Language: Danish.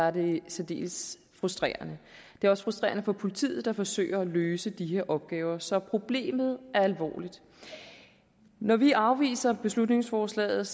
er det særdeles frustrerende det er også frustrerende for politiet der forsøger at løse de her opgaver så problemet er alvorligt når vi afviser beslutningsforslaget